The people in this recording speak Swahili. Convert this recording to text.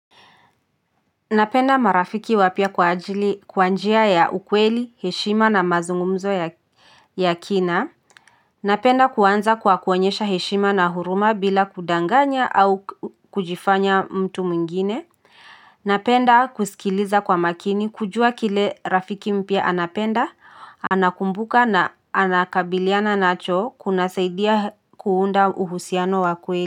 Napenda marafiki wapya kwa njia ya ukweli, heshima na mazungumzo ya kina. Napenda kuanza kwa kuonyesha heshima na huruma bila kudanganya au kujifanya mtu mwingine. Napenda kusikiliza kwa makini kujua kile rafiki mpya anapenda. Anakumbuka na anakabiliana nacho kuna saidia kuunda uhusiano wa kweli.